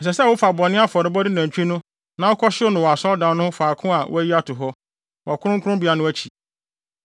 Ɛsɛ sɛ wofa bɔne afɔrebɔde nantwi no na wokɔhyew no wɔ asɔredan no ho faako a wɔayi ato hɔ, wɔ kronkronbea no akyi.